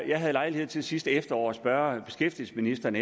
jeg havde lejlighed til sidste efterår at spørge beskæftigelsesministeren